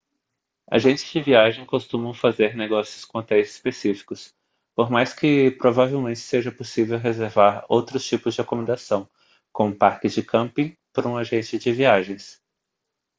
agentes de viagens costumam fazer negócios com hotéis específicos por mais que provavelmente seja possível reservar outros tipos de acomodação como parques de camping por um agente de viagens